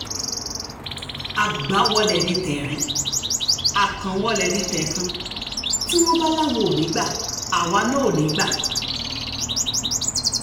àgbà-wọlé ni tẹ̀ẹ̀rín akàn-wọ́lẹ̀ ní tẹ̀ẹ̀kan tí wọ́n bá láwọn ò ní í gba àwa náà ò ní í gbà